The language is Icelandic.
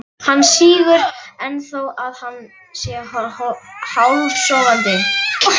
Hann sýgur enn þó að hann sé hálfsofandi.